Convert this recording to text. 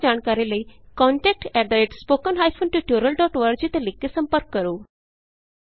ਜਿਆਦਾ ਜਾਣਕਾਰੀ ਲਈ contactspoken tutorialorg ਤੇ ਲਿਖ ਕੇ ਸੰਪਰਕ ਕਰੋ